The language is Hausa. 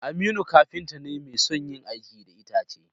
Aminu kafinta ne mai son yin aiki da itace.